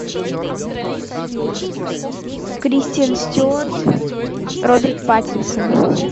кристен стюарт роберт паттинсон